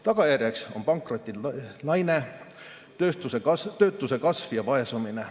Tagajärjeks on pankrottide laine, töötuse kasv ja vaesumine.